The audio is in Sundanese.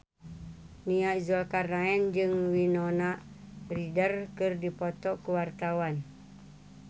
Nia Zulkarnaen jeung Winona Ryder keur dipoto ku wartawan